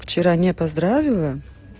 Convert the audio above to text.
вчера не поздравила